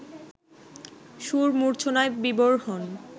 সুর মূর্ছনায় বিভোর হন